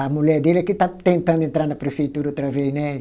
A mulher dele é que está tentando entrar na prefeitura outra vez, né?